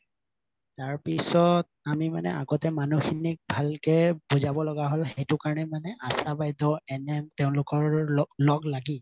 তাৰপিছত আমি মানে আগতে মানুহখিনিক ভালকে বুজাব লাগা হল সেইকাৰণে আশা বাইদেউৰ NM তেওঁলোকৰ লগ লাগি আৰু